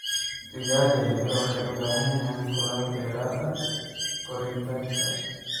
Digaaga yaryar waxay u baahan yihiin kulayl dheeraad ah koritaanka.